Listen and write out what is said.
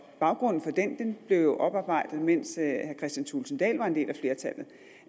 baggrunden for den blev jo oparbejdet mens herre kristian thulesen dahl var en del